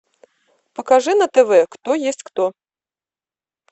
покажи на тв кто есть кто